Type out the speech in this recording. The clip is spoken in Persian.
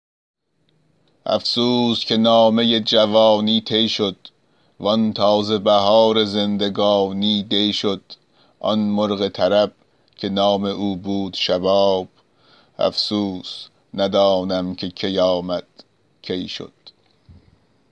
افسوس که نامه جوانی طی شد وآن تازه بهار زندگانی دی شد آن مرغ طرب که نام او بود شباب افسوس ندانم که کی آمد کی شد